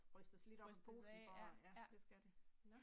Rystes lidt op af posen for at ja det skal det